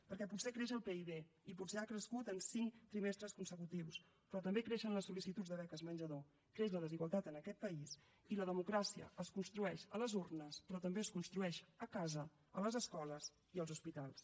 perquè potser creix el pib i potser ha crescut en cinc trimestres consecutius però també creixen les sol·licituds de beques menjador creix la desigualtat en aquest país i la democràcia es construeix a les urnes però també es construeix a casa a les escoles i als hospitals